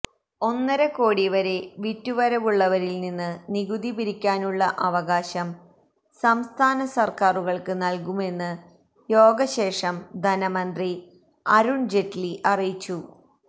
ഒന്നരക്കോടിവരെ വിറ്റുവരവുള്ളവരില്നിന്ന് നികുതി പിരിക്കാനുള്ള അവകാശം സംസ്ഥാനസര്ക്കാറുകള്ക്ക് നല്കുമെന്ന് യോഗശേഷം ധനമന്ത്രി അരുണ് ജെയ്റ്റ്ലി അറിയിച്ചു